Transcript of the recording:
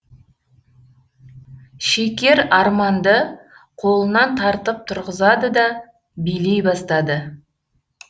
шекер арманды қолынан тартып тұрғызады да билей бастады